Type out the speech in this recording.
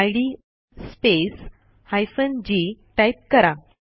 इद space hyphen g type करा